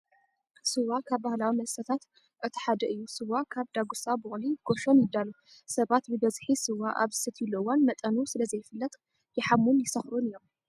ስዋ ካብ ባህሊዊ መስተታት እቲ ሓደ እዩ። ስዋ ካብ ዳጉሳ፣ ቡቅሊ፣ ጎሾን ይዳሎ። ሰባት ብበዝሒ ስዋ ኣብ ዝሰትይሉ እዋን መጠኑ ስለዘይፍለጥ ይሓሙን ይሰኽሩን እዮም።